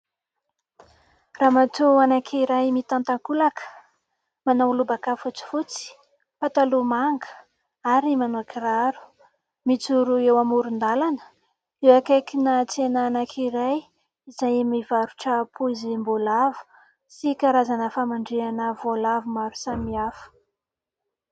Ramatoa anankiray mitan-takolaka, manao lobaka fotsifotsy, pataloha manga ary manao kiraro mijoro eo amoron-dalana ; eo akaikina tsena anankiray izay mivarotra poizim-boalavo sy karazana famandrihana voalavo maro samihafa.